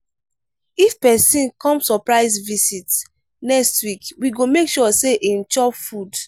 if pesin come surprise visit next week we go make sure sey im chop food.